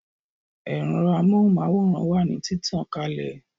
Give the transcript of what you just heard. Ero amóhùn máwòrán wà ní títàn kalẹ̀